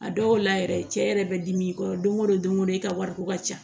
A dɔw la yɛrɛ cɛ yɛrɛ bɛ dimi i kɔrɔ don o don i ka wariko ka ca